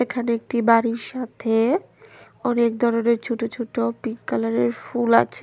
এখানে একটি বাড়ির সাথে অনেক ধরনের ছোট ছোট পিংক কালারের ফুল আছে।